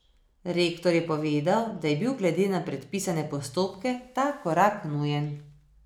Rektor je povedal, da je bil glede na predpisane postopke ta korak nujen.